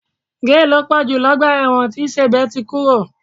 Géè ló pọ̀ jù lọ́gbà ẹ̀wọ̀n tí Sèbé ti kúrò